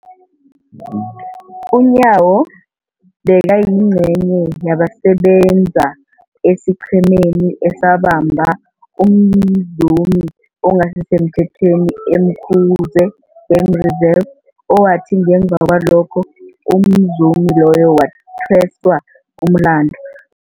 UNyawo bekayingcenye yabasebenza esiqhemeni esabamba umzumi ongasisemthethweni e-Umkhuze Game Reserve, owathi ngemva kwalokho umzumi loyo wathweswa umlandu.